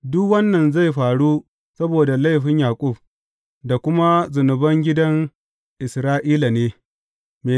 Duk wannan zai faru saboda laifin Yaƙub, da kuma zunuban gidan Isra’ila ne.